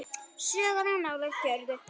Sögur of nálægt jörðu.